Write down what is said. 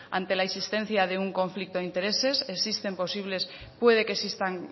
ante la insistencia de un conflicto de intereses pueden que existan